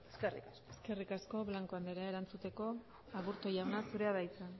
eskerrik asko eskerrik asko blanco andrea erantzuteko aburto jauna zurea da hitza